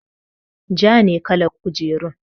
Ja ne kalar kujerun.